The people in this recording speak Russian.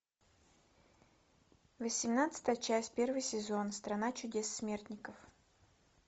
восемнадцатая часть первый сезон страна чудес смертников